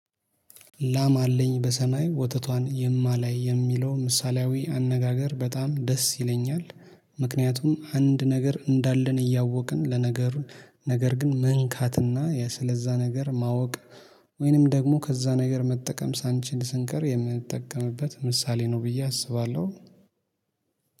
ላም አለኝ በሰማይ ወተቷን የማላይ የሚለው ምሳሌያዊ አነጋገር በጣም ደስ ይለኛል። ምክንያቱም አንድ ነገር እንዳለን እያወቅን ለነገሩን ነገር ግን መንካትና ስለዛ ነገር ማወቅ። ወይንም ደግሞ ከዛ ነገር መጠቀም ሳንችል ስንቀር የምንጠቀምበት ምሳሌ ነው ብዬ አስባለሁ።